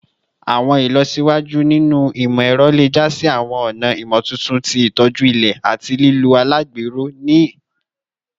Awọn ilọsiwaju ninu imọ-ẹrọ le ja si awọn ọna imotuntun ti itoju ilẹ ati lilo alagbero ti awọn orisun alumọni ni ọjọ iwaju